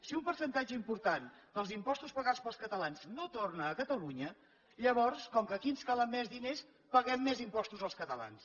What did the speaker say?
si un percentatge important dels impostos pagats pels catalans no torna a catalunya llavors com que aquí ens calen més diners paguem més impostos els catalans